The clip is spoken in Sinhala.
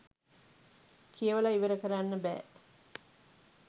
කියවල ඉවර කරන්න බෑ